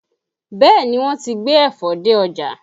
Bẹẹ ni, wọ́n ti gbé ẹ̀fọ dé ọjà